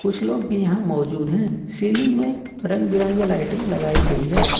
कुछ लोग भी यहां मौजूद हैं सीलिंग में रंग बिरंगे लाइटें लगाई गई है।